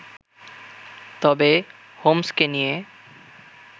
তবে হোমসকে নিয়ে